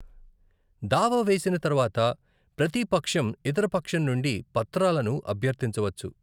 దావా వేసిన తర్వాత, ప్రతీ పక్షం ఇతర పక్షం నుండి పత్రాలను అభ్యర్థించవచ్చు.